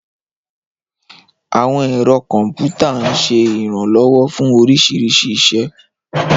Àwọn ẹ̀rọ kọ̀m̀pútà ń ṣe ìrànlọ́wọ́ fún oríṣiríṣi iṣẹ́.